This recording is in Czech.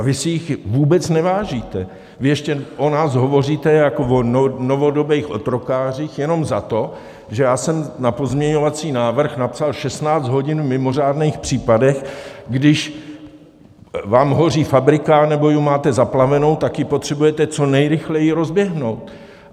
A vy si jich vůbec nevážíte, vy ještě o nás hovoříte jako o novodobých otrokářích jenom za to, že já jsem na pozměňovací návrh napsal 16 hodin v mimořádných případech, když vám hoří fabrika nebo ji máte zaplavenou, tak ji potřebujete co nejrychleji rozběhnout.